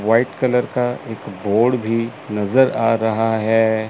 White colour का एक board भी नजर आ रहा है।